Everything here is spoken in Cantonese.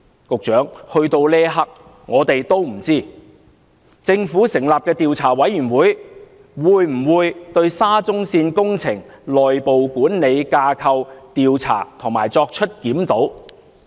局長，到了這一刻，我們也不知道，政府成立的調查委員會會否對沙中線工程內部管理架構作出調查及檢討？